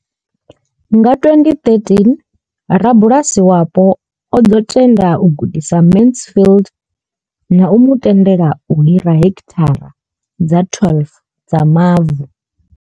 Nga 2013 rabulasi wapo o ḓo tenda u gudisa Mansfield na u mu tendela u hira heki thara dza 12 dza mavu.